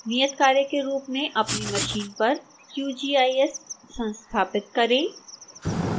नियतकार्य के रूप में अपनी मशीन पर qgis संस्थापित करें